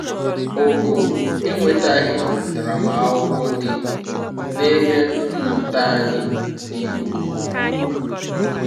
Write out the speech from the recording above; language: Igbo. Ogo enwetaghị ntaramahụhụ dị n'ebe mmụta anyị dị ukwuu.